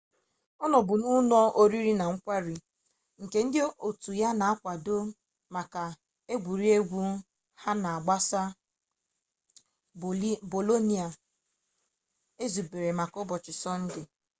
ọ nọbu n'ụlọ oriri na nkwari nke ndị otu ya na-akwado maka egwuregwu ha ga-agbasị bolonia ezubere maka ụbọchị sọnde